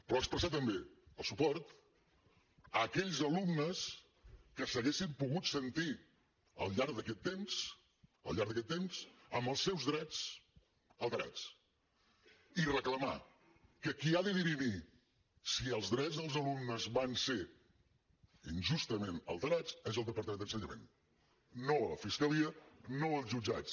però expressar també el suport a aquells alumnes que s’haguessin pogut sentir al llarg d’aquest temps al llarg d’aquest temps amb els seus drets alterats i reclamar que qui ha de dirimir si els drets dels alumnes van ser injustament alterats és el departament d’ensenyament no la fiscalia no els jutjats